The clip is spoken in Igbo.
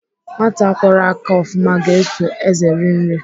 Nwata kwọrọ aka ofụma ga-eso ézè eri nri.